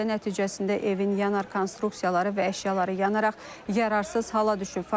Hadisə nəticəsində evin yanar konstruksiyaları və əşyaları yanaraq yararsız hala düşüb.